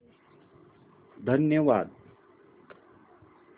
धन्यवाद